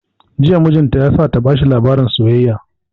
Jiya mijin ta ya sa ta bashi labarin soyayya